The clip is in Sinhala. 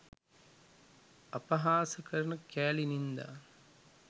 අපහාස කරන කෑලි නින්දා